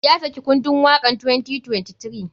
Ya saki kundun wakan 2023.